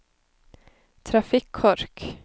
trafikkork